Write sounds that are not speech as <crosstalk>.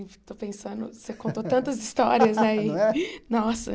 Estou pensando, <laughs> você contou tantas histórias <laughs> né não é e nossa.